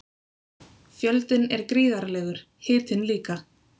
Fjöldinn er gríðarlegur, hitinn líka.